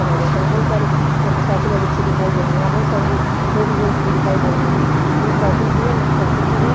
बनाए जाते हैं बहोत सारे मोटरसाइकल और रिक्शे दिखाई दे रहे हैं यहाँ बहोत सारे रे लेडीज़ जेंट्स भी दिखाई दे रहे हैं यहाँ साइकिल भी है मोटरसाइकिल भी है।